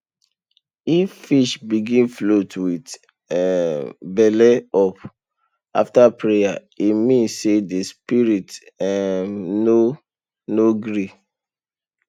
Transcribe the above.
if fish begin float with um belle up after prayer e mean say the spirit um no no gree